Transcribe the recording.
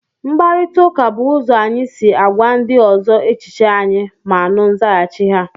mkparịta ụka bụ ụzọ anyị si agwa ndị ọzọ echiche anyị ma nụ nzaghachi ha